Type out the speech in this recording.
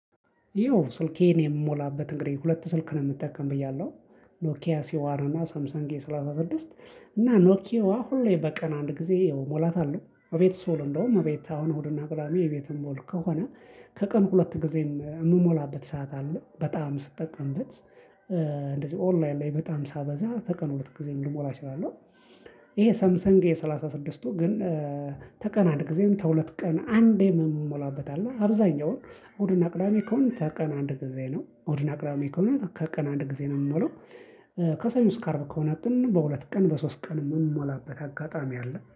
ይኸው ስልኬን የምሞላበት እንግዲህ ሁለት ስልክ ነው የምጠቀም ብያለሁ ኖኪያ ሲዋርና ሳምሰንግ ኤ ሰላሳ ስድስት። እና ኖኪዋ ሁሌ በቀን አንድ ጊዜ እሞላታለሁ እቤት ስውል እንደውም እቤት አሁን እሁድና ቅዳሜ እቤት የምዉል ከሆነ። ከቀን ሁለት ጊዜም የምሞላበት ሰዓት አለ በጣም ስጠቀምበት። እንደዚህ ኦንላይን ላይ በጣም ሳበዛ በቀን ሁለት ጊዜ ሊሞላ ይችላለሁ። ይሄ ሰምሰንግ ኤ ስድስቱ ግን ተቀን አንድ ጊዜም ተሁለት ቀን አንዴም የምሞላበት አለ አብዛኛውን እሁድና ቅዳሜ ከሆነ ተቀን አንድ ጊዜ ነው። እሁድና ቅዳሜ ከሆነ ከቀን አንድ ጊዜ ነው የምመለው። ከሰኞ እስከ አርብ ከሆነ ግን በሁለት ቀን በሶስት ቀንም የምሞላበት አጋጣሚ አለ